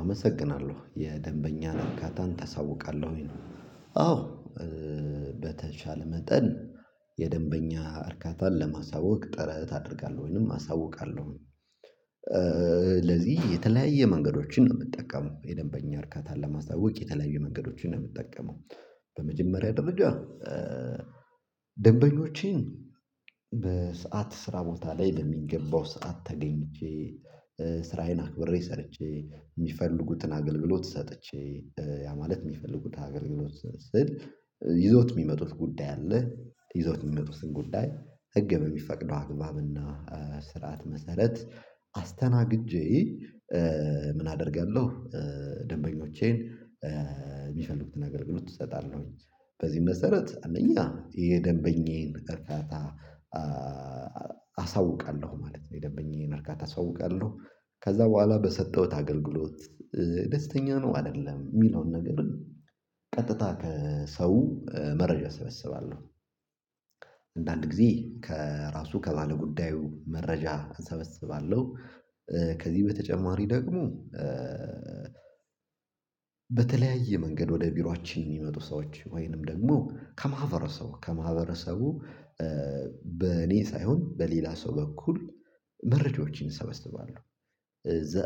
አመሰግናለሁ የደንበኛ እርካታን ታሳውቃለህ ወይ? አዎ ኧ በተቻለ መጠን የደንበኛ እርካታን ለማሳወቅ ጥረት አደርጋለሁ ወይንም አሳውቃለሁ ኧ ለዚህ የተለያየ መንገዶችን ነው እምጠቀመው የደንበኛ እርካታን ለማስታወቅ የተለያየ መንገዶችን ነው እምጠቀመው። በመጀመሪያ ደረጃ ደንበኞችን በሰ ስራ ቦታ ላይ በሚገባው ሰዓት ተገኝቼ ኧ ስራዬን አክብሬ ሰርቼ እሚፈልጉትን አገልግሎት ሰጥቼ ኧ ያ ማለት እሚፈልጉት አገልግሎት ስል ይዘውት እሚመጡት ጉዳይ አለ ይዞት የሚመጡትን ጉዳይ ህግ በሚፈቅደው አግባብና ስርዓት መሰረት አስተናግጄ ኧ ምን አደርጋለሁ። ኧ ደንበኞቼን ኧ እሚፈልጉትን አገልግሎት እሰጣለሁኝ በዚህ መሰረት አንደኛ የደንበኛዬን እርፋታ ኧ አሳውቃለሁ ማለት ነው የደንበኛየን እርካታ አሳውቃለሁ። ከዛ ቡሃላ በሰጠሁት አገልግሎት ኧ ደስተኛ ነው አይደለም እሚለውን ነገር ቀጥታ ከሰው መረጃ እሰበስባለሁ። አንዳንድ ጊዜ ከራሱ ከባለጉዳዩ መረጃ አሰበስባለሁ። ኧ ከዚህ በተጨማሪ ደግሞ ኧ በተለያየ መንገድ ወደ ቢሯችን እሚመጡ ሰዎች ወይንም ደግሞ ከማህበረሰቡ ከማህበረሰቡ ኧ በእኔ ሳይሆን በሌላ ሰው በኩል መረጃዎችን እሰበስባለሁ።